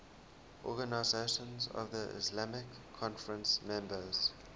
organisation of the islamic conference members